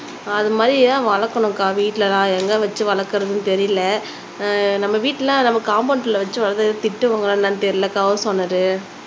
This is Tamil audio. அது மாதிரி தான் வளக்கணும்கா வீட்ல நான் எங்க வச்சு வளக்கறதுன்னு தெரியல அஹ் நம்ம வீட்லனா நம்ம காம்பவுண்ட்ல வச்சு வளர்த்தா திட்டுவாங்களா என்னன்னு தெரியல ஹவுஸ் ஒனர்